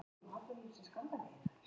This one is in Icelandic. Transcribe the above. Þau nutu þess að gefa af sér.